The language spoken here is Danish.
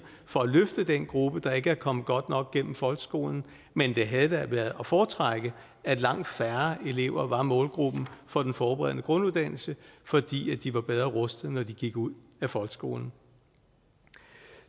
for at løfte den gruppe der ikke er kommet godt nok igennem folkeskolen men det havde da været at foretrække at langt færre elever var målgruppen for den forberedende grunduddannelse fordi de var bedre rustet når de gik ud af folkeskolen